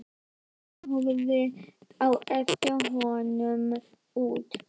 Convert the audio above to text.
Stjarna horfði á eftir honum út.